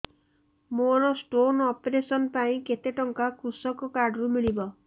ମୋର stone operation ପାଇଁ କେତେ ଟଙ୍କା କୃଷକ କାର୍ଡ ରୁ ମିଳିବ